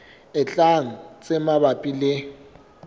e tlang tse mabapi le